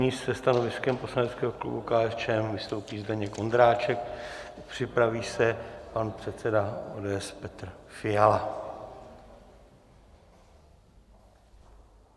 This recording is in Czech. Nyní se stanoviskem poslaneckého klubu KSČM vystoupí Zdeněk Ondráček, připraví se pan předseda ODS Petr Fiala.